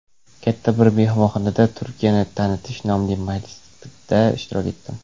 katta bir mehmonxonada "Turkiyani tanitish" nomli majlisda ishtirok etdim.